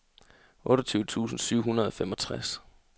otteogtyve tusind syv hundrede og femogtres